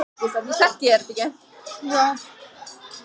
Þá streymir efnið í lögum sem auðvelt er að lýsa stærðfræðilega og í orðum.